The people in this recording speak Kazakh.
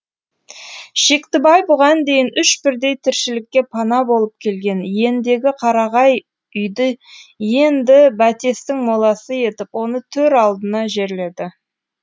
шектібай бұған дейін үш бірдей тіршілікке пана болып келген иендегі қарағай үйді енді бәтестің моласы етіп оны төр алдына жерледі